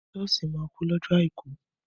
Sọ́ọ̀ṣì máa kún lọ́jọ àìkú.